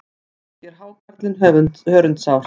Ekki er hákarlinn hörundsár.